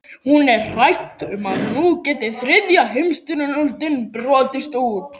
Hún er hrædd um að nú geti þriðja heimstyrjöldin brotist út.